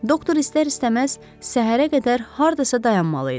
Doktor istər-istəməz səhərə qədər hardasa dayanmalı idi.